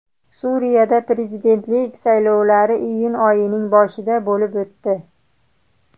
Suriyada prezidentlik saylovlari iyun oyining boshida bo‘lib o‘tdi.